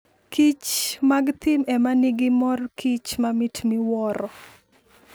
kich mag thim e ma nigi mor kich mamit miwuoro.